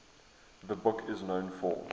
the book is known for